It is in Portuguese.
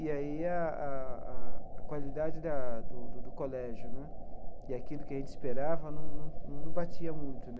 E aí a a a a qualidade da do do do colégio né e aquilo que a gente esperava não não não batia muito né.